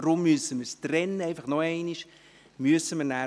Deshalb müssen wir es trennen, ich sage es noch einmal.